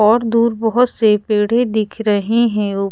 और दूर बहुत से पेड़े दिख रहे हैं उ--